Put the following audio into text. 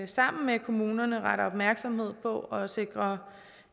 sammen med kommunerne retter opmærksomhed på at sikre